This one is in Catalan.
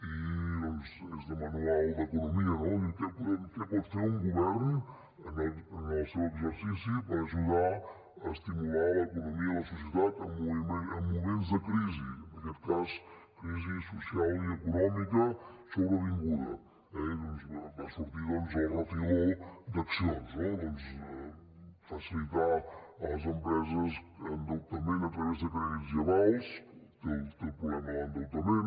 i és de manual d’economia no què pot fer un govern en el seu exercici per ajudar a estimular l’economia i la societat en moments de crisi en aquest cas crisi social i econòmica sobrevinguda eh i va sortir doncs el refiló d’accions no doncs facilitar a les empreses endeutament a través de crèdits i avals té el problema de l’endeutament